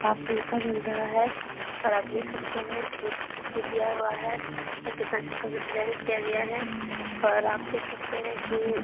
काफ़ी ऊँचा बन रहा है पर आप देख सकते हैं की खिड़की दिया हुआ है और कितना अच्छे से डिज़ाइन किया गया है । और आप देख सकते हैं की --